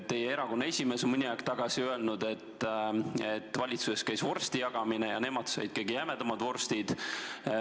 Teie erakonna esimees on mõni aeg tagasi öelnud, et valitsuses käis vorstide jagamine ja nemad said kõige jämedamad vorstid.